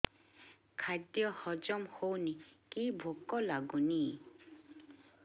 ଖାଦ୍ୟ ହଜମ ହଉନି କି ଭୋକ ଲାଗୁନି